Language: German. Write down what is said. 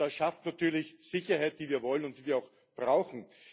Das schafft natürlich Sicherheit, die wir wollen und die wir auch brauchen.